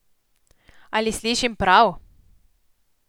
Ali slišim prav?